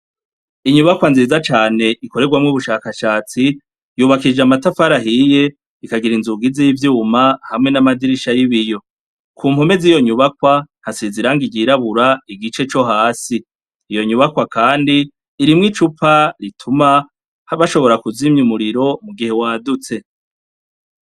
Inyubakwa nziza cane ikorerwamwo ubushakashatsi yubakishijwe amatafari ahiye ikagira inzugi zivyuma hamwe namadirisha yibiyo kumpome ziyo nyubakwa hasize irangi ryirabura igice cohasi iyo nyubakwa kandi irimwo icupa ituma bashobora kuzimya umuriro mugihe wadutse